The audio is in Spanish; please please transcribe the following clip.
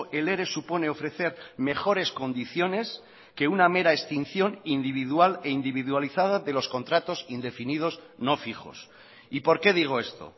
el ere supone ofrecer mejores condiciones que una mera extinción individual e individualizada de los contratos indefinidos no fijos y por qué digo esto